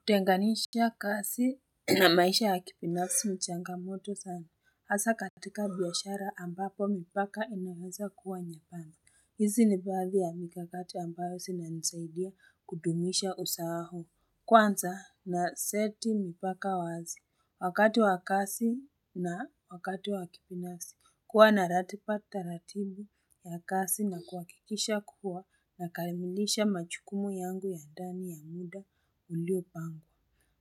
Kutenganisha kazi na maisha ya kibinafsi ni changamoto sana hasa katika biashara ambapo mipaka inaweza kuwa nyembamba. Hizi ni baadhi ya mikakati ambayo zinanisaidia kudumisha usawa huu. Kwanza naseti mipaka wazi. Wakati wa kazi na wakati wa kipinasi. Kuwa na ratiba taratibu ya kazi na kuhakikisha kuwa nakamilisha majukumu yangu ya ndani ya muda uliopangwa.